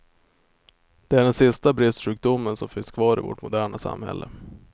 Det är den sista bristsjukdomen som finns kvar i vårt moderna samhälle.